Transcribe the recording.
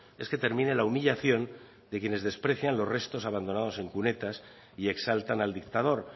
es que termine la humillación de quienes desprecian los restos abandonados en cunetas y exaltan al dictador